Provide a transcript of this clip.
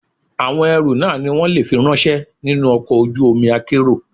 Àwọn ẹrú náà ni wón le fi ráńṣẹ́ nínú ọkọ̀ ojú omi akérò.